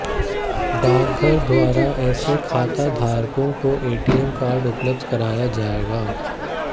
डाकघर द्वारा ऐसे खाताधारकों को एटीएम कार्ड उपलब्ध कराया जाएगा